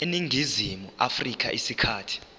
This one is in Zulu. eningizimu afrika isikhathi